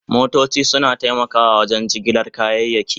Motoci suna taimakawa wajen jigilar kayayyaki.